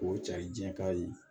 K'o cari jɛn kari